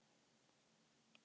Ég þarf að bíða og sjá.